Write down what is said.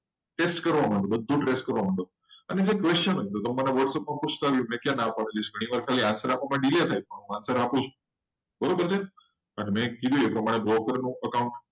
trace કરવા માંડો trace બધુ કરવા માંડો. અને જે question હતો મને whatsapp માં પૂછતા રહો મેં ક્યાં ના પાડી છે. ઘણીવાર answer આપવા મા delay થાય. answer આપું છું. બરોબર છે? અને મેં કીધું એ પ્રમાણે broker નું account